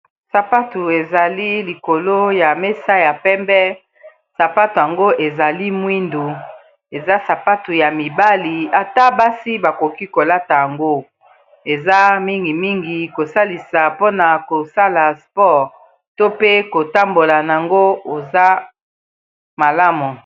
sapatu ezali likolo ya mesa ya pembe sapatu yango ezali mwindu eza sapatu ya mibali ata basi bakoki kolata yango eza mingimingi kosalisa pona kosala sport to pe kotambola a yango eza malamu.